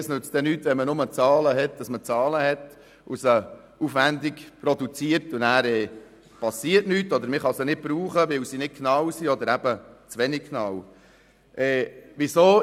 Es nützt nichts, wenn man aufwendig Zahlen produziert, nur damit man Zahlen hat und nachher nichts geschieht oder man sie nicht brauchen kann, weil sie nicht genau oder eben zu wenig genau sind.